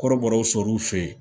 Kɔrɔbɔrɔw sɔrɔ fe yen